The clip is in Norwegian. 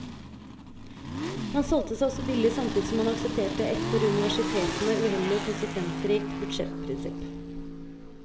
Man solgte seg også billig samtidig som man aksepterte et for universitetene uheldig og konsekvensrikt budsjettprinsipp.